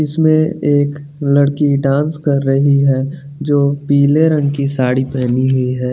इसमें एक लड़की डांस कर रही है जो पीले रंग की साड़ी पेहनी हुई है।